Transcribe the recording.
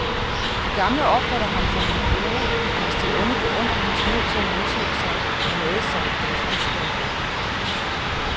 De gamle opfatter ham som en provo, mens de unge beundrer hans mod til at modsætte sig nomadesamfundets uskrevne regler.